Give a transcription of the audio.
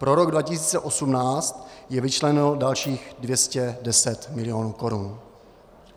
Pro rok 2018 je vyčleněno dalších 210 milionů korun.